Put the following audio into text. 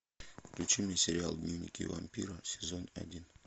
включи мне сериал дневники вампира сезон один